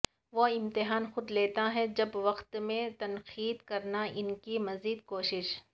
وہ امتحان خود لیتا ہے جب وقت میں تنقید کرنا ان کی مزید کوشش